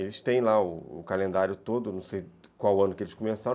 Eles têm lá o o calendário todo, não sei qual ano que eles começaram.